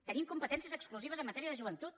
tenim competències exclusives en matèria de joventut